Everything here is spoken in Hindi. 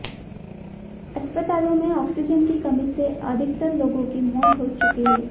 अस्पतालों में ऑक्सीजन की कमी से अधिकतर लोगों की मौत हो चुकी है